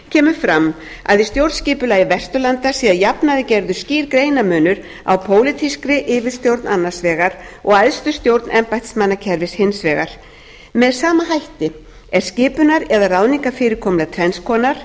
kemur fram að í stjórnskipulagi vesturlanda sé að jafnaði gerður skýr greinarmunur á pólitískri yfirstjórn annars vegar og æðstu stjórn embættismannakerfis hins vegar með sama hætti er skipunar eða ráðningafyrirkomulag tvenns konar